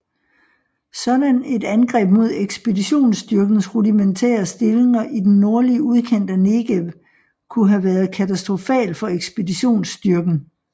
Sådan et angreb mod ekspeditionsstyrkens rudimentære stillinger i den nordlige udkant af Negev kunne have været katastrofal for ekspeditionsstyrken